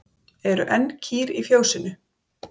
Eru enn kýr í fjósinu?